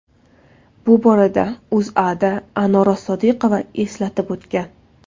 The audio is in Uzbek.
Bu haqda O‘zAda Anora Sodiqova eslatib o‘tgan .